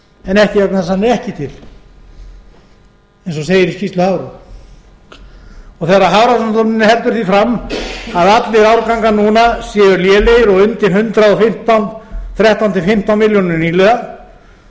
en ekki vegna þess að hann sé ekki til eins og segir í skýrslu hafró þegar hafrannsóknastofnun heldur því fram að allir árgangar núna séu lélegir og undir hundrað og þrettán til hundrað og fimmtán milljónir nýliða